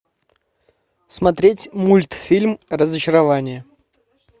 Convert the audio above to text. смотреть мультфильм разочарование